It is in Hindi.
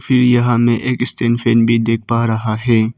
फिर यहां में एक एक्टेंशन भी देख पा रहा हैं।